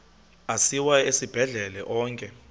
asiwa esibhedlele onke